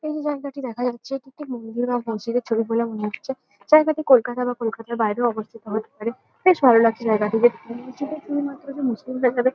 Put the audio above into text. এই যে জায়গাটি দেখা যাচ্ছে এটি একটি মন্দির বা মসজিদের ছবি বলে মনে হচ্ছে। জায়গাটি কলকাতা বা কলকাতার বাইরেও অবস্থিত হতে পারে। বেশ ভালো লাগছে জায়গাটি দেখতে। মসজিদে শুধুমাত্র যে মুসলিমরা যাবে--